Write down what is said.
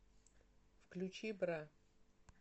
включи бра